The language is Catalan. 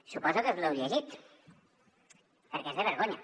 suposo que us l’heu llegit perquè és de vergonya